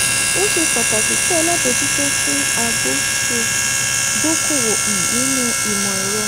ó ṣe pàtàkì kí alábòjútó àti agbó ṣe dókòwò um nínú imọ̀ ẹ̀rọ.